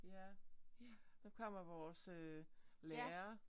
Ja ja nu kommer vores øh lærer